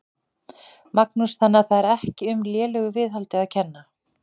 Magnús: Þannig að það er ekki um lélegu viðhaldi að kenna?